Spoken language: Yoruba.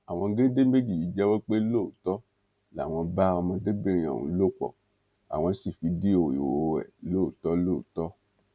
àwọn géńdé méjì yìí jẹwọ pé lóòótọ làwọn bá ọmọdébìnrin ọhún lò pọ àwọn sí fídíò ìhòòhò ẹ lóòótọ lóòótọ